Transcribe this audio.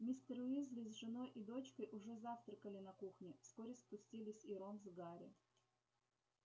мистер уизли с женой и дочкой уже завтракали на кухне вскоре спустились и рон с гарри